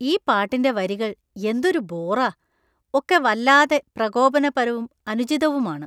ഈ പാട്ടിന്‍റെ വരികള്‍ എന്തൊരു ബോറാ. ഒക്കെ വല്ലാതെ പ്രകോപനപരവും അനുചിതവുമാണ്.